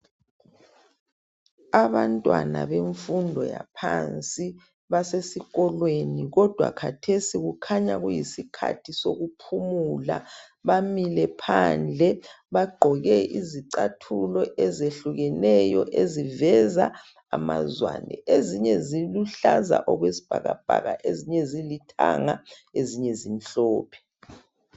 Abantwana bemfundo yaphansi basesikolweni, kodwa khathesi kukhanya kuyisikhathi sokuphumula. Bamile phandle. Bagqoke izicathulo ezehlukeneyo, eziveza amazwane. Ezinye ziluhlaza okwesibhakabhaka, ezinye zilithanga, ezinye zimhlophe.